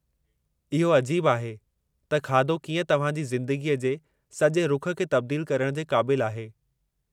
इहो अजीबु आहे त खाधो कीअं तव्हां जी ज़िंदगीअ जे सॼे रुखु खे तब्दीलु करण जे क़ाबिलु आहे।